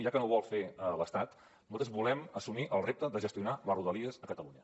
ja que no ho vol fer l’estat nosaltres volem assumir el repte de gestionar les rodalies a catalunya